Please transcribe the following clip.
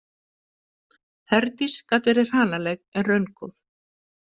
Herdís gat verið hranaleg en raungóð.